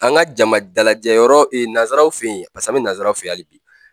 An ka jama dalajɛ yɔrɔ nazaraw fɛ ye paseke an bɛ nazaraw fɛ ye hali bi.